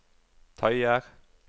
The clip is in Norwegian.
tøyer